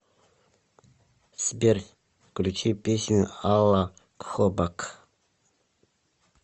сбер включи песню ала хобак